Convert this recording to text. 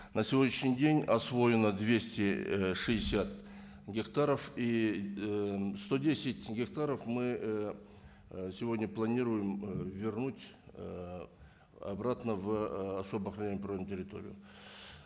на сегодняшний день освоено двести ы шестьдесят гектаров и ыыы сто десят гектаров мы ыыы сегодня планируем ы вернуть ыыы обратно в ыыы особо охраняемую природную территорию